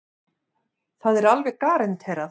Það er alveg garanterað.